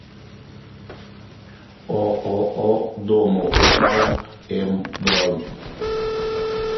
ооо домоуправ м бронь